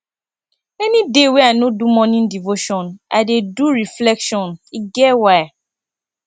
any day wey i no do morning devotion i dey do reflection e get why